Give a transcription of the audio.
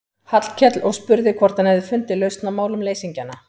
Hallkel og spurði hvort hann hefði fundið lausn á málum leysingjanna.